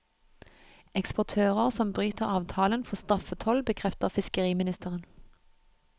Eksportører som bryter avtalen får straffetoll, bekrefter fiskeriministeren.